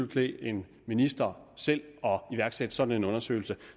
klæde en minister selv at iværksætte sådan en undersøgelse